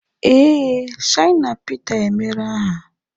Ee, Shina Pita emeere aha